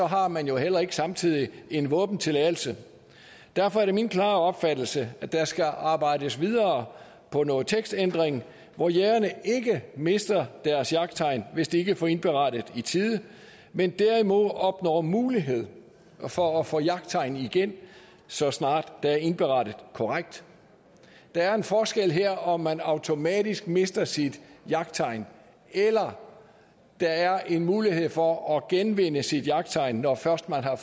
har man jo heller ikke samtidig en våbentilladelse derfor er det min klare opfattelse at der skal arbejdes videre på noget tekstændring hvor jægerne ikke mister deres jagttegn hvis de ikke får indberettet i tide men derimod opnår mulighed for at få jagttegnet igen så snart der er indberettet korrekt der er en forskel her om man automatisk mister sit jagttegn eller om der er en mulighed for at genvinde sit jagttegn når først man har